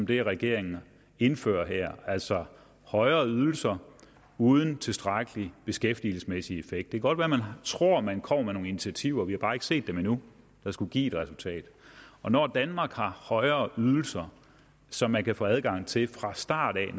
det regeringen indfører her altså højere ydelser uden tilstrækkelig beskæftigelsesmæssig effekt det kan godt være man tror at man kommer med nogle initiativer vi har bare ikke set dem endnu der skulle give et resultat og når danmark har højere ydelser som man kan få adgang til fra start af